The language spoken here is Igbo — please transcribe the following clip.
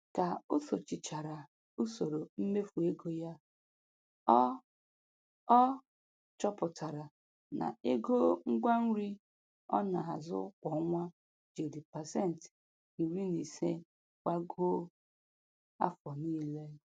Ka o sochichara usoro mmefu ego ya, ọ ọ chọpụtara na ego ngwa nri ọ na-azụ kwa ọnwa jiri pasenti iri na ise gbagoo afọ niile.